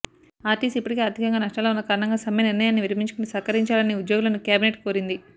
RTC ఇప్పటికే ఆర్థికంగా నష్టాల్లో ఉన్న కారణంగా సమ్మె నిర్ణయాన్ని విరమించుకుని సహకరించాలని ఉద్యోగులను క్యాబినెట్ కోరింది